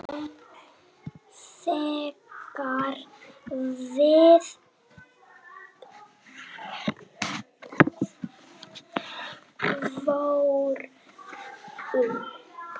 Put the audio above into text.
Þegar við vorum.